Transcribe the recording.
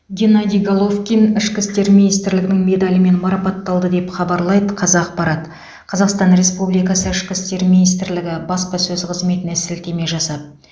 геннадий головкин ішкі істер министрлігінің медалімен марапатталды деп хабарлайды қазақпарат қазақстан республикасы ішкі істер министрлігі баспасөз қызметіне сілтеме жасап